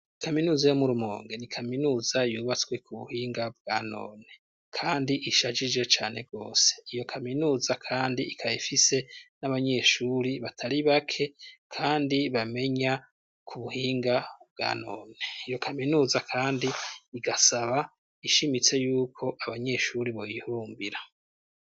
Kaminuza yo mu Rumonge ni kaminuza yubatswe ku buhinga bwa none, kandi ishajije cane gose. Iyo kaminuza kandi ikaba ifise n'abanyeshuri batari bake, kandi bamenya ku buhinga bwa none. Iyo kaminuza kandi igasaba ishimitse y'uko abanyeshuri boyihurumbira.